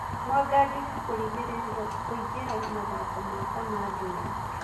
Mwangangĩki kũrigĩrĩrwo kũingĩra mathĩko ma Kamandũra.